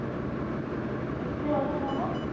একেবাৰতে সোমাব